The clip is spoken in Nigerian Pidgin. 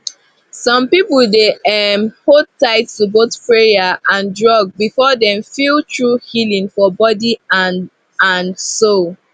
some people dey um hold tight to both prayer and drug before dem feel true healing for body and and soul